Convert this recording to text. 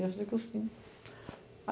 Eu ia fazer cursinho.